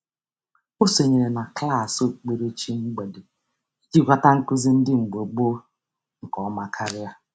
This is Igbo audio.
Ọ sonyere na klaasị okpukperechi mgbede iji ghọta nkụzi ndị mgbe gboo nke ọma karịa.